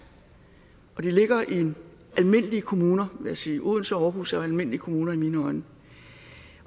og de ligger i almindelige kommuner vil jeg sige odense og aarhus er almindelige kommuner i mine øjne